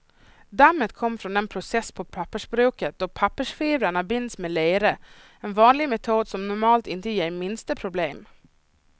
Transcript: Dammet kom från den process på pappersbruket då pappersfibrerna binds med lera, en vanlig metod som normalt inte ger minsta problem.